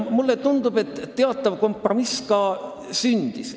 Mulle tundub, et teatav kompromiss ka sündis.